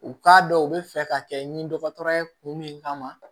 U k'a dɔn u bɛ fɛ ka kɛ ni dɔgɔtɔrɔ ye kun min kama